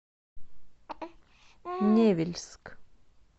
невельск